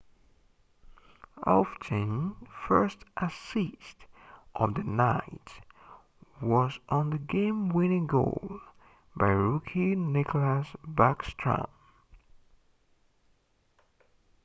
ovechkin's first assist of the night was on the game-winning goal by rookie nicklas backstrom